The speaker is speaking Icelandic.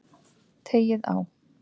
Teygið á.